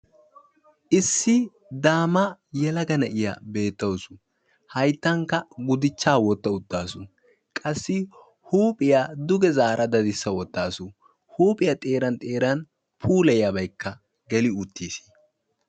Issi daama yelaga na'iyaa beettawus; hayttankka gudichcha wotta utaawus; huuphiyaa duge zaara daddissa wottawus; huuphiyaa xeera xeeran puuliyiyaabaykka geli uttiis.